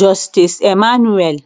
justice emmanuel